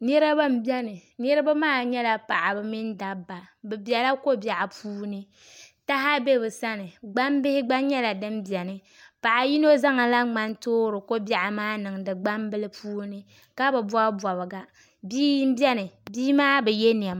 Niraba n biɛni niraba maa nyɛla paɣaba mini dabba bi biɛla ko biɛɣu puuni taha bɛ bi sani gbambihi gba nyɛla din biɛni paɣa yino zaŋla ŋmani toori ko biɛɣu maa niŋdi gbambili puuni ka bi bob bobga bia n biɛni bia maa bi yɛ niɛma